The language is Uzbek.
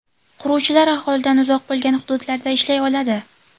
Quruvchilar aholidan uzoq bo‘lgan hududlarda ishlay oladi.